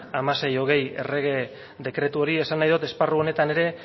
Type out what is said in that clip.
mila seiehun eta hogei errege dekretu hori esan nahi dut esparru horretan ere